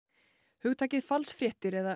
hugtakið falsfréttir eða